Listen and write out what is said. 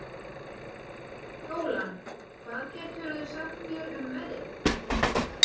Bjólan, hvað geturðu sagt mér um veðrið?